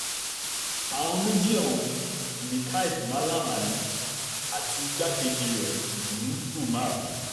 àwọn méjì ọ̀hún nikhaid malam ali àti igbákejì rẹ̀ bunu umar